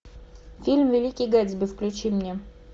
фильм великий гэтсби включи мне